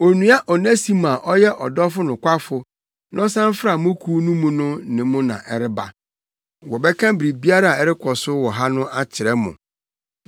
Onua Onesimo a ɔyɛ ɔdɔfo nokwafo na ɔsan fra mo kuw mu no ne no na ɛreba. Wɔbɛka biribiara a ɛrekɔ so wɔ ha akyerɛ mo.